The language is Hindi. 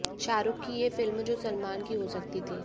शाहरूख की ये फिल्म जो सलमान की हो सकती थी